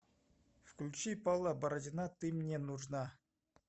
включи павла бородина ты мне нужна